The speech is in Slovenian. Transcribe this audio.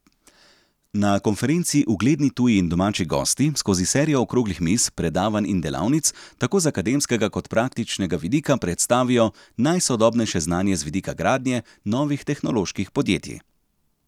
Na konferenci ugledni tuji in domači gosti skozi serijo okroglih miz, predavanj in delavnic tako z akademskega kot praktičnega vidika predstavijo najsodobnejše znanje z vidika gradnje novih tehnoloških podjetij.